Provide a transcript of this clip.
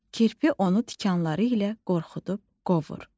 Kirpi onu tikanları ilə qorxudub qovur.